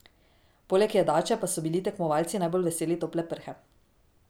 Poleg jedače pa so bili tekmovalci najbolj veseli tople prhe.